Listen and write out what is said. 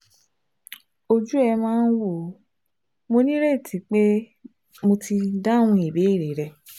Ojú ẹ̀ máa ń wò ó, mo ní ìrètí pé mo ti dáhùn ìbéèrè rẹ